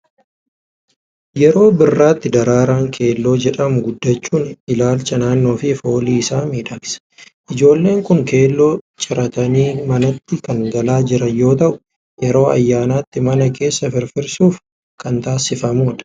Yeroo birraatti daraaraan keelloo jedhamu guddachuun ilaalcha naannoo fi foolii isaa miidhagsa. Ijoollonni kun keelloo ciratanii manatti kan galaa jiran yoo ta'u, yeroo ayyaanaatti mana keessa firfirsuuf kan taasifamu dha.